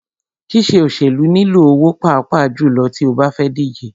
Ṣíṣe òṣèlú nilò owó pàápàá jùlọ tí o bá fẹ́ díje.